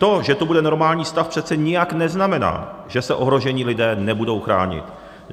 To, že tu bude normální stav, přece nijak neznamená, že se ohrožení lidé nebudou chránit.